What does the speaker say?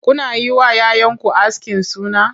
Kuna yi wa 'ya 'yanku askin suna?